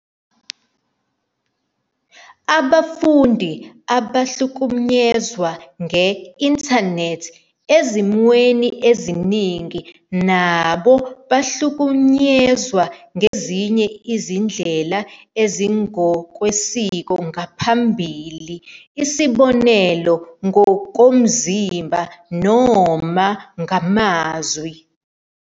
Abafundi abahlukunyezwa nge-Intanethi, ezimweni eziningi, nabo bahlukunyezwa ngezinye izindlela ezingokwesiko ngaphambili, isibonelo, ngokomzimba noma ngamazwi.